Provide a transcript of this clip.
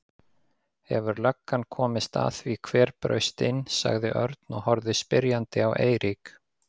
Hefur löggan komist að því hver braust inn? sagði Örn og horfði spyrjandi á Eirík.